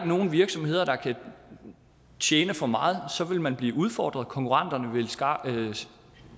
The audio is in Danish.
nogen virksomheder der kan tjene for meget så vil man blive udfordret og konkurrenterne vil